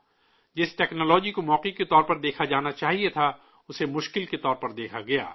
جس ٹیکنالوجی کو موقع کے طور پر دیکھا جانا چاہیے تھا، اسے بحران کے طور پر دیکھا گیا